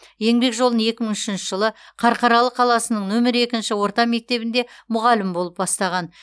еңбек жолын екі мың үшінші жылы қарқаралы қаласының нөмір екінші орта мектебінде мұғалім болып бастаған